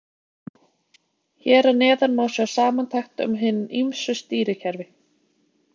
Hér að neðan má sjá samantekt um hin ýmsu stýrikerfi.